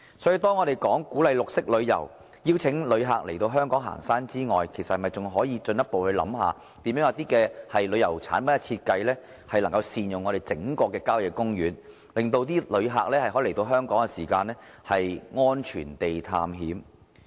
所以，除鼓勵綠色旅遊，邀請旅客來港行山之外，我們應進一步考慮設計一些旅遊產品，善用郊野公園，令旅客來香港安全地探險。